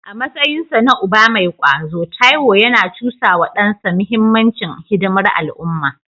A matsayinsa na uba mai kwazo, Taiwo yana cusa wa dansa muhimmancin hidimar al’umma.